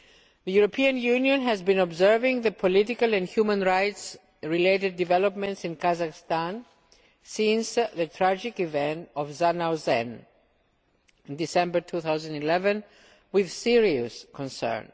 The European Union has been observing the political and human rights related developments in Kazakhstan since the tragic events of Zhanaozen in December 2011 with serious concern.